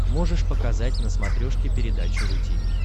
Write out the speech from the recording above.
можешь показать на смотрешке передачу ру ти ви